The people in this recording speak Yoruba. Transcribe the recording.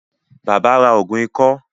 Bàbá ra ògùn ikọ́